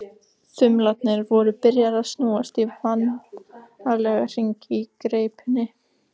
Þumlarnir voru byrjaðir að snúast í vanalega hringi í greipinni.